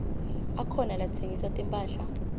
akhona latsengisa timphahla